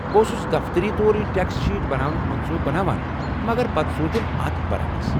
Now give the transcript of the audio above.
بہٕ اوسُس دفتری طوریہ ٹٮ۪کس شیٖٹ بناونُك منصوٗبہٕ بناوان مگر پتہٕ سوٗنچُم اتھ برعکس ۔